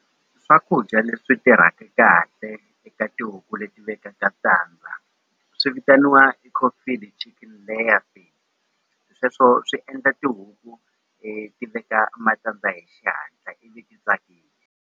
Swakudya leswi tirhaka kahle eka tihuku leti vekaka tandza swi vitaniwa chicken layers sweswo swi endla tihuku ti veka matandza hi xihatla ivi .